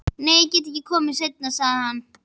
Nei, ég get ekki komið seinna, sagði hann.